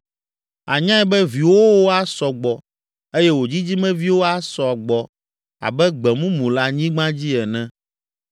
Ànyae be viwòwo asɔ gbɔ eye wò dzidzimeviwo asɔ agbɔ abe gbe mumu le anyigba dzi ene.